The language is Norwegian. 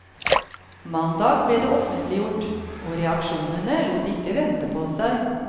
Mandag ble det offentliggjort, og reaksjonene lot ikke vente på seg.